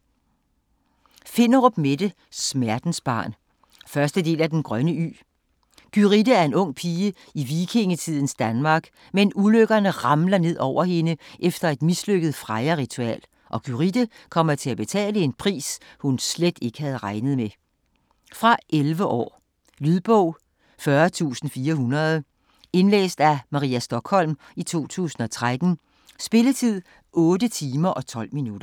Finderup, Mette: Smertensbarn 1. del af Den grønne ø. Gyrithe er en ung pige i vikingetidens Danmark, men ulykkerne ramler ned over hende efter et mislykket Freja-ritual, og Gyrithe kommer til at betale en pris, hun slet ikke havde regnet med. Fra 11 år. Lydbog 40400 Indlæst af Maria Stokholm, 2013. Spilletid: 8 timer, 12 minutter.